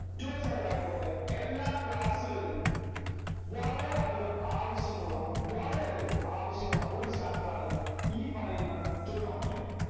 twelfth standard ആയിക്കോട്ടെ എല്ലാ class കളിലും വളരെ അധികം ആവശ്യമുള്ള വളരെ അധികം ആവശ്യമുള്ള ഒരു chapter ആണ് ഈ പറയുന്ന trigonometry